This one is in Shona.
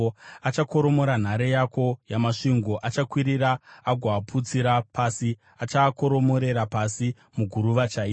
Achakoromora nhare yako yamasvingo akakwirira agoaputsira pasi; achaakoromorera pasi, muguruva chaimo.